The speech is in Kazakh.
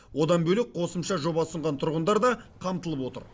одан бөлек қосымша жоба ұсынған тұрғындар да қамтылып отыр